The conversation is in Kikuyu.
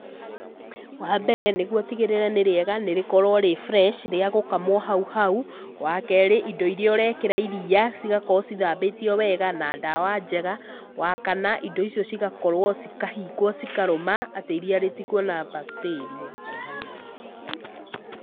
Wa mbere, nĩguo ũtigĩrĩre nĩ rĩega nĩ rĩkorwo rĩ fresh, rĩa gũkamwo hau hau. Wa kerĩ, indo irĩa ũreekĩra iria cigakorwo cithambĩtio wega na ndawa njega. Wa kana, indo icio cigakorwo, cikahingwo, cikarũma atĩ iria rĩtikũona bacteria.